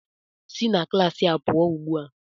Si na klas a pụọ ugbu a!